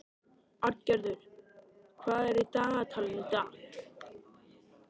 Arngerður, hvað er í dagatalinu í dag?